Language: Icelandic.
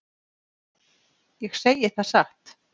Ég segi það satt.